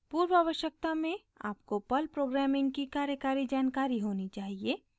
पूर्वआवश्यकता में आपको Perl programming की कार्यकारी जानकारी होनी चाहिए